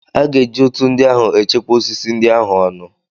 A ga-eji ụtụ ndị ahụ echekwa osisi ndị ahụ ọnụ.